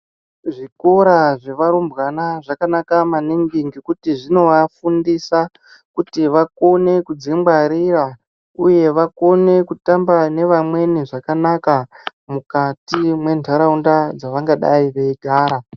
Zvikora zvevarumbwana zvakanaka maningi ngekuti zvinovafundisa kuti vakone kudzingwarira uye vakone kutamba nevamweni zvakanaka mukati mwentaraunda dzavangadai veigara.